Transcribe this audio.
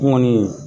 Kɔni